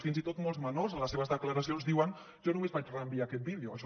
fins i tot molts menors en les seves declaracions diuen jo només vaig reenviar aquest vídeo